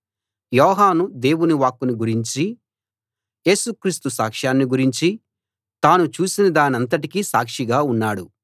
యోహాను దేవుని వాక్కును గురించీ యేసు క్రీస్తు సాక్షాన్ని గురించీ తాను చూసినదానంతటికీ సాక్షిగా ఉన్నాడు